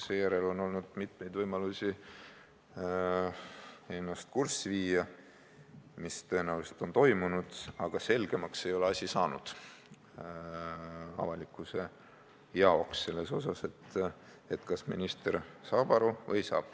Seejärel on olnud mitmeid võimalusi ennast kurssi viia, mis tõenäoliselt on toimunud, aga avalikkusele ei ole selgemaks saanud, kas minister saab aru või ei saa.